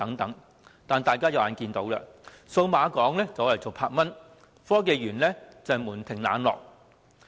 但是，大家也看到，數碼港和科學園均門庭冷落。